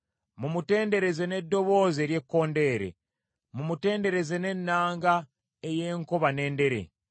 Mumutendereze n’eddoboozi ery’ekkondeere, mumutendereze n’ennanga ey’enkoba n’endere.